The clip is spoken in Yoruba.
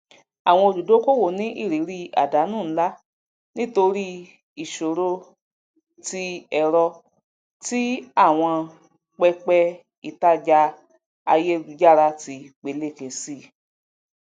àwọn olùdókòwò ní irírí àdánù ńlá nítorí ìṣòro tí ẹrọ ti àwọn pẹpẹ ìtajà ayélujára tí peléke síi